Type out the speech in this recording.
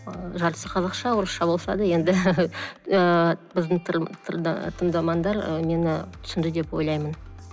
жартысы қазақша орысша болса да енді ыыы біздің тыңдармандар мені түсінді деп ойлаймын